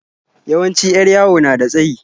Yawanci 'yar yawo na da tsayi.